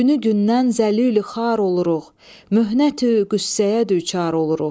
Günü gündən zəlilü xar oluruq, möhnətü qüssəyə düçar oluruq.